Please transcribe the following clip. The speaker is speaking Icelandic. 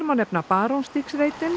má nefna